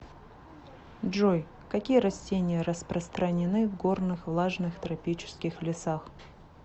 джой какие растения распространены в горных влажных тропических лесах